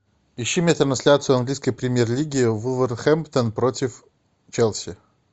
ищи мне трансляцию английской премьер лиги вулверхэмптон против челси